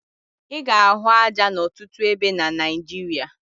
Ị ga-ahụ aja n'ọtụtụ ebe na Naịjirịa